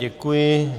Děkuji.